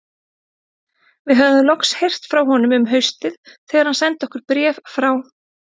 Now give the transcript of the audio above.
Við höfðum loks heyrt frá honum um haustið þegar hann sendi okkur bréf frá